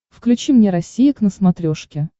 включи мне россия к на смотрешке